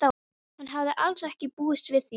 Hann hafði alls ekki búist við því.